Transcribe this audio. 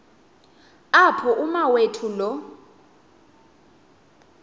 apho umawethu lo